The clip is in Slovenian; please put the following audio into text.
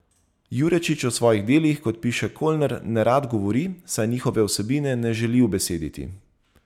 Jurečič o svojih delih, kot piše Colner, nerad govori, saj njihove vsebine ne želi ubesediti.